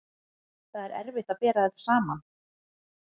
Það er erfitt að bera þetta saman.